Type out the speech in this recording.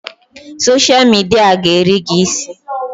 Soshal midia a ga-eri gị isi!